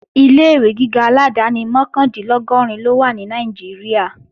Ilé-ìwé gíga aládáni mọ́kàndínlọ́gọ́rin ló wà ní Nàìjíríà